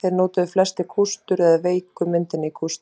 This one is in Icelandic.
Þeir notuðu flestir kústur eða veiku myndina kústi.